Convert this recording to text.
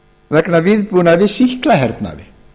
vegna viðbúnaðar í sýklahernaði